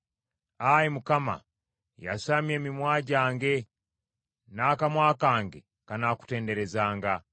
Ayi Mukama, yasamya emimwa gyange, n’akamwa kange kanaakutenderezanga.